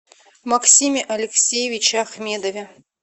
максиме алексеевиче ахмедове